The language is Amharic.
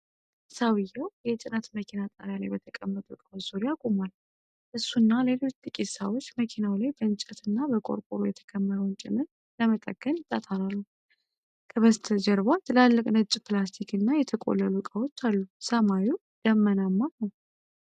የሰውየው የጭነት መኪና ጣሪያ ላይ በተቀመጡ እቃዎች ዙሪያ ቆሟል። እሱና ሌሎች ጥቂት ሰዎች መኪናው ላይ በእንጨትና በቆርቆሮ የተከመረውን ጭነት ለመጠገን ይጣጣራሉ። ከበስተጀርባ ትላልቅ ነጭ ፕላስቲክና የተቆለሉ ዕቃዎች አሉ። ሰማዩ ደመናማ ነው።